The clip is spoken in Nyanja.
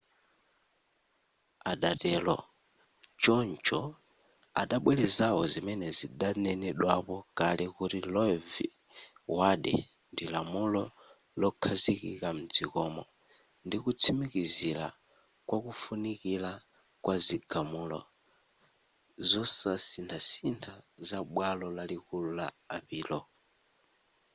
adatero choncho adabwelezapo zimene zidanenedwapo kale kuti roe v wade ndi lamulo lokhazikika mdzikomo ndikutsimikizira kwakufunikira kwa zigamulo zosasinthasintha za bwalo lalikulu la apilo